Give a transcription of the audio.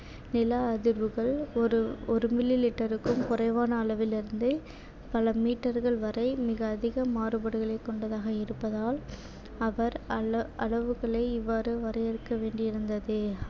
நில அதிர்வுகள் ஒரு ஒரு millimeter க்கும் குறைவான அளவிலிருந்து பல meter கள் வரை மிக அதிக மாறுபாடுகளைக் கொண்டதாக இருப்பதால் அவர் அளவுகளை இவ்வாறு வரையறுக்க வேண்டியிருந்தது.